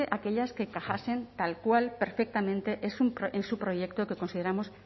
aquellas que encajasen tal cual perfectamente en su proyecto que consideramos